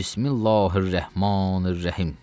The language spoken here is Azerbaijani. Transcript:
Bismillahir-Rəhmanir-Rəhim.